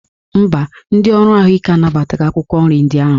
Mba, ndị ọrụ ahụike anabataghị akwụkwọ nri ndị ahụ